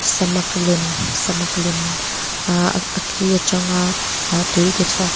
samak lem samak lem ahh a ki aṭanga ah tui tichhuak--